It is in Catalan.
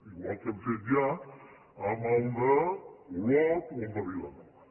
igual que hem fet ja amb el d’olot o el de vilanova